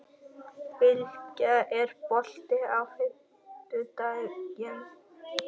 Bylgja, er bolti á fimmtudaginn?